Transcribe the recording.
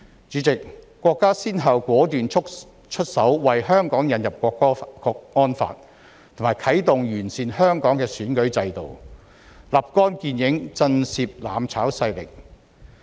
主席，國家先後果斷出手，為香港引入《香港國安法》和完善香港選舉制度，立竿見影，震懾"攬炒"勢力。